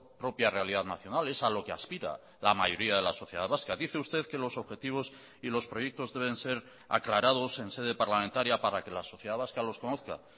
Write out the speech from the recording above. propia realidad nacional es a lo que aspira la mayoría de la sociedad vasca dice usted que los objetivos y los proyectos deben ser aclarados en sede parlamentaria para que la sociedad vasca los conozca